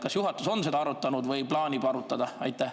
Kas juhatus on seda arutanud või plaanib arutada?